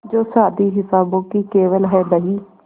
जो शादी हिसाबों की केवल है बही